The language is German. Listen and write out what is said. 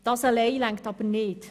Das allein reicht aber nicht.